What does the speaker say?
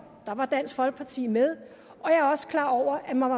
der var dansk folkeparti med og jeg er også klar over at man